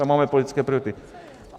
Tam máme politické priority.